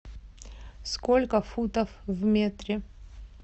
сколько футов в метре